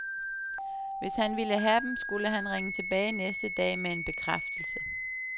Hvis han ville have dem, skulle han ringe tilbage næste dag med en bekræftelse.